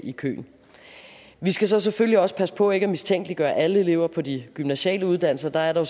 i køen vi skal så selvfølgelig også passe på ikke at mistænkeliggøre alle elever på de gymnasiale uddannelser der er der